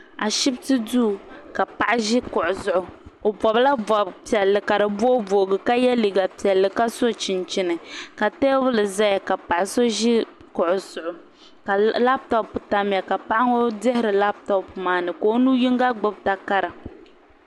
Ashipti duu ka paɣa ʒi kuɣu zuɣu o bobila bob'piɛli ka di booboogi ka ye liiga piɛlli ka so chinchini ka teebuli zeya ka paɣa so ʒi kuɣu zuɣu ka laaputopu tamya ka Paɣa ŋɔ dihiri laaputopu maa ka o nu yinga gbibi takara.